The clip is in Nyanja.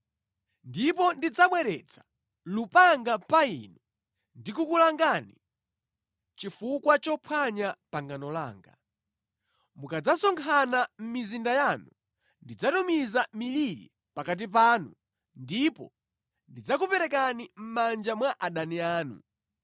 Ndipo ndidzabweretsa lupanga pa inu ndi kukulangani chifukwa chophwanya pangano langa. Mukadzasonkhana mʼmizinda yanu, ndidzatumiza miliri pakati panu ndipo ndidzakuperekani mʼmanja mwa adani anu.